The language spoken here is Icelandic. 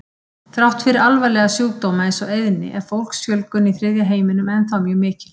Þrátt fyrir alvarlega sjúkdóma eins og eyðni er fólksfjölgun í þriðja heiminum ennþá mjög mikil.